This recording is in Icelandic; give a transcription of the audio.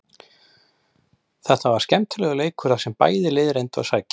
Þetta var skemmtilegur leikur þar sem bæði lið reyndu að sækja.